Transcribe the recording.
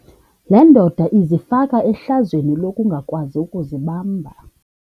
Le ndoda izifake ehlazweni lokungakwazi ukuzibamba.